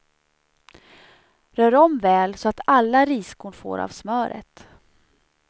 Rör om väl så att alla riskorn får av smöret.